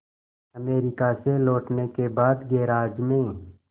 America से लौटने के बाद गैराज में